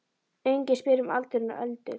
Enginn spyr um aldurinn á Öldu.